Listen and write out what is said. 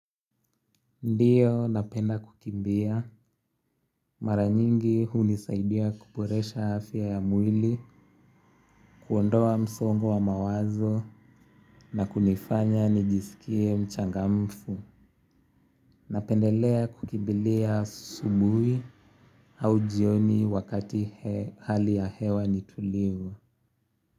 Ndiyo napenda kukimbia. Mara nyingi hunisaidia kuboresha afya ya mwili, kuondoa msongo wa mawazo na kunifanya nijisikie mchangamfu. Napendelea kukimbilia asubuhi au jioni wakati hali ya hewa ni tulivu.